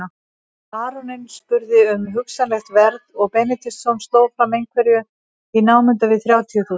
Baróninn spurði um hugsanlegt verð og Benediktsson sló fram einhverju í námunda við þrjátíu þúsund.